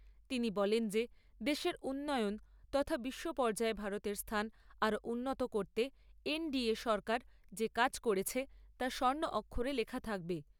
তিনি বলেন যে দেশের উন্নয়ন তথা বিশ্ব পর্যায়ে ভারতের স্থান আরো উন্নত করতে এন ডি এ সরকার যে কাজ করেছে তা স্বর্ণ অক্ষরে লেখা থাকবে।